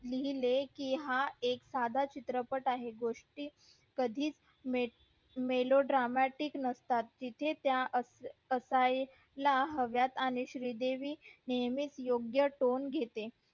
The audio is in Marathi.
लिहिले कि हा एक साधा चित्रपट आहे गोष्टी कधी च mrlo dramatic नसतात तिथे त्या असायला हव्यात आणि श्री देवी नेहमीच योग्य tone घेते